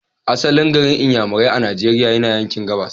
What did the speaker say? Asalin garin Inyamurai a Nigeria yana yanki gabas.